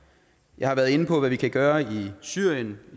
jeg har været inde på hvad vi kan gøre i syrien